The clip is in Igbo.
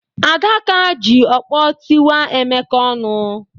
Adaka ji ọkpọ tiwaa Emeka ọnụ.